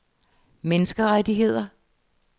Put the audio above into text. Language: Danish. menneskerettigheder